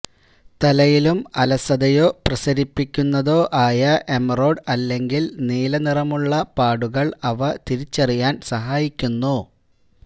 തലയിലും അലസതയോ പ്രസരിപ്പിക്കുന്നതോ ആയ എമറോഡ് അല്ലെങ്കിൽ നീലനിറമുള്ള പാടുകൾ അവ തിരിച്ചറിയാൻ സഹായിക്കുന്നു